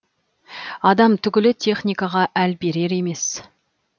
адам түгілі техникаға әл берер емес